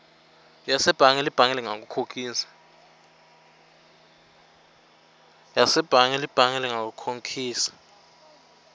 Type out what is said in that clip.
yasebhange libhange lingakukhokhisa